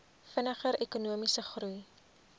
vinniger ekonomiese groei